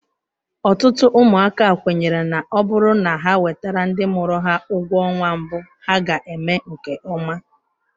Ọtụtụ ụmụaka kwenyere na ọ bụrụ na ha wetara ndị mụrụ ha ụgwọ ọnwa mbụ ha ga-eme nke ọma.